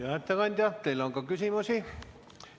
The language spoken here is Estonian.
Hea ettekandja, teile on ka küsimusi.